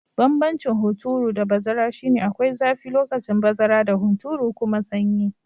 Banbancin hunturu da bazara shi ne, akwai zafi lokacin bazara da hunturu kuma sanyi.